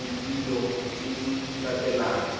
le dilo tse di latelang